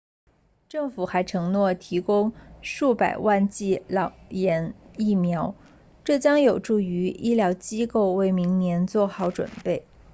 政府还承诺提供数百万剂脑炎疫苗这将有助于医疗机构为明年做好准备